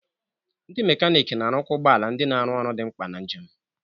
Ndi mekaniki na-arụkwa ụgbọ ala ndị na-arụ ọrụ dị mkpa na njem.